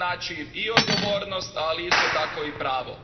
To znači i odgovornost, ali isto tako i pravo.